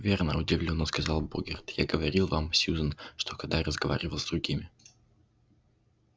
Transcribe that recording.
верно удивлённо сказал богерт я говорил вам сьюзен что когда я разговаривал с другими